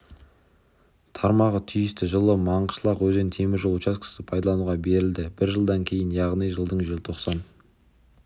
тармағы түйісті жылы маңғышлақ-өзен темір жол учаскесі пайдалануға берілді бір жылдан кейін яғни жылдың желтоқсан